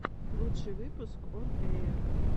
лучший выпуск он эйр